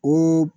O